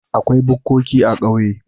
Akwai bukkoki a ƙauye.